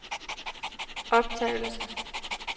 optagelse